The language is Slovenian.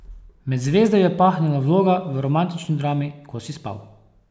Med zvezde jo je pahnila vloga v romantični drami Ko si spal.